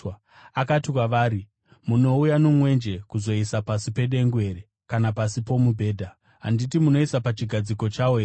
Akati kwavari, “Munouya nomwenje kuzouisa pasi pedengu here kana pasi pomubhedha? Handiti munouisa pachigadziko chawo here?